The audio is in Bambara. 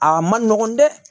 Aa ma nɔgɔn dɛ